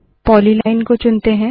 polyline को चुनते है